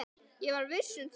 Ég var viss um það.